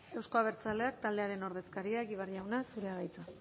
euzko abertzaleak taldearen ordezkaria egibar jauna zurea da hitza